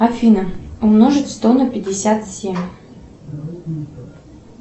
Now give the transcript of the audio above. афина умножить сто на пятьдесят семь